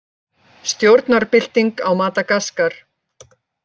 Stjórnarbylting á Madagaskar